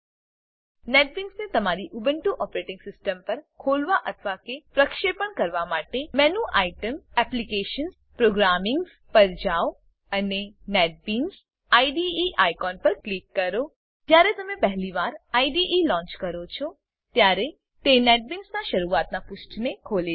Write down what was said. નેટબીન્સને તમારી Ubuntu operating system પર ખોલવા અથવા કે પ્રક્ષેપણ કરવા માટે મેનુ આઇટમ એપ્લિકેશન્સ પ્રોગ્રામિંગ્સ પર જાવ અને નેટબીન્સ આઇડીઇ આઇકોન પર ક્લિક કરો જ્યારે તમે પહેલી વાર આઇડીઇ લોન્ચ કરો છો ત્યારે તે નેટબીન્સનાં શરૂઆતનાં પુષ્ઠને ખોલે છે